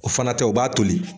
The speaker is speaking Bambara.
O fana tɛ , o b'a toli.